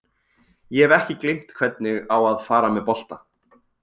Ég hef ekki gleymt hvernig á að fara með bolta.